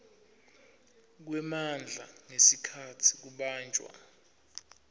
kwemandla ngesikhatsi kubanjwa